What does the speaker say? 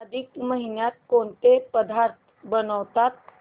अधिक महिन्यात कोणते पदार्थ बनवतात